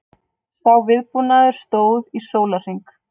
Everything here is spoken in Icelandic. Sá viðbúnaður stóð í sólarhring